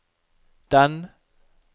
den